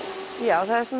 það